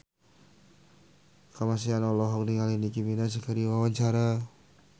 Kamasean olohok ningali Nicky Minaj keur diwawancara